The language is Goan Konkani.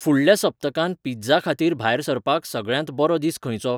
फुडल्या सप्तकांत पिझ्झा खातीर भायर सरपाक सगळ्यांत बरो दीस खंयचो ?